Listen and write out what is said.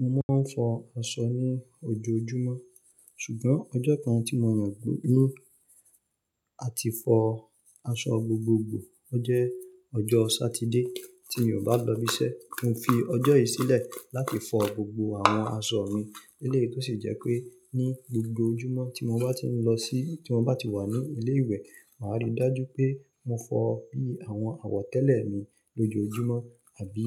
Mo máa ń fọ aṣọ ní ojoojúmọ́, ṣùgbọ́n ọjọ́ kan tí mo yàn no, à ti fọ aṣọ gbogbogbò ọ jẹ́ ọjọ́ Sátidé tí mi ò bá lọ ibi iṣẹ́. Mo fi ọjọ́ yìí sílẹ̀ láti fọ gbogbo àwọn aṣọ mi eleyi tó sì jẹ́ pé ní gbogbo ojúmọ́ tí mo bá ti ń lọ sí-- tí mo bá ti wà ní ilé ìwé, màá rí i dájú pé mo fọ bí i àwọn àwọ̀tẹ́lẹ̀ mi lójoojúmọ́ àbí